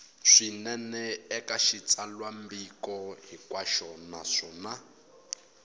swinene eka xitsalwambiko hinkwaxo naswona